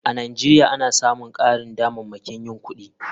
A nigeria ana samun karin damammakin yin ibadar kudi.